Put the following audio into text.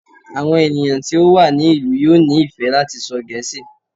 Àwọn ènìyàn tí ó wà ní ìlú yóò nífẹ̀ẹ́ láti sọ Gẹẹ́sì.